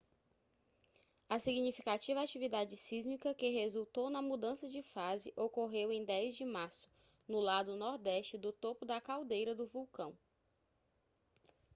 a significativa atividade sísmica que resultou na mudança de fase ocorreu em 10 de março no lado nordeste do topo da caldeira do vulcão